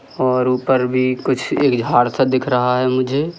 और ऊपर भी कुछ एक झाड़ सा दिख रहा है मुझे।